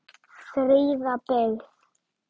Fríða byggð.